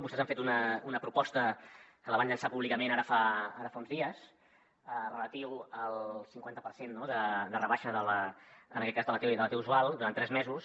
vostès han fet una proposta que la van llançar públicament ara fa uns dies relativa al cinquanta per cent no de rebaixa en aquest cas de la t usual durant tres mesos